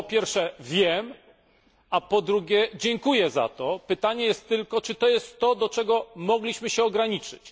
Po pierwsze wiem, a po drugie, dziękuję za to. Pytanie jest tylko, czy to jest to, do czego mogliśmy się ograniczyć?